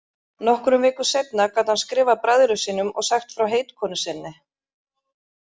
Nokkrum vikum seinna gat hann skrifað bræðrum sínum og sagt frá heitkonu sinni.